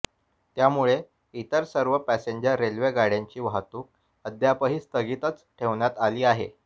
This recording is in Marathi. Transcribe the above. त्यामुळे इतर सर्व पॅसेंजर रेल्वे गाड्यांची वाहतूक अद्यापही स्थगितच ठेवण्यात आली आहे